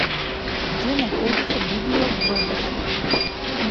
где находится библио глобус